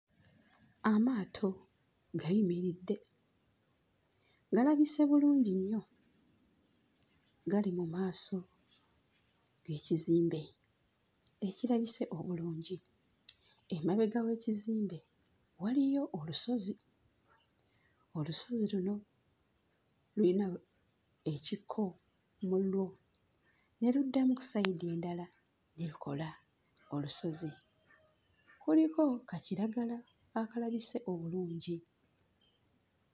Amaato gayimiridde, galabise bulungi nnyo gali mu maaso g'ekizimbe ekirabise obulungi. Emabega w'ekizimbe waliyo olusozi, olusozi luno luyina we ekikko mu lwo ne luddamu ku ssayidi endala ekola olusozi. Kuliko ka kiragala akalabise obulungi.